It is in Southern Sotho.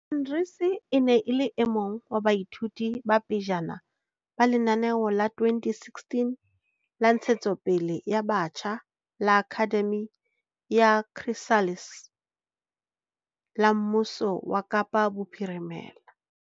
Arendse e ne e le e mong wa baithuti ba pejana ba lenaneo la 2016 la ntshetsopele ya batjha la Akhademi ya Chrysalis la mmuso wa Kapa Bophirimela.